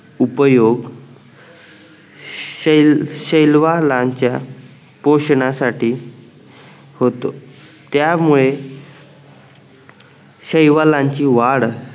उपयोग शैलवालांच्या पोषणासाठी होतो त्यामुळे शैलवालांची वाढ उपयोग शैलवालांच्या पोषणासाठी होतो त्यामुळे शैवालांची वाड